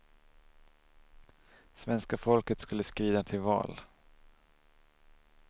Svenska folket skulle skrida till val.